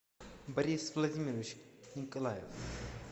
борис владимирович николаев